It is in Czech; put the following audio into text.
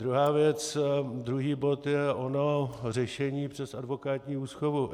Druhá věc, druhý bod je ono řešení přes advokátní úschovu.